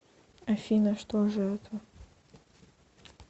афина что же это